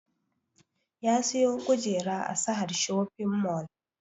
Ya siyo kujera a sahad shopping mall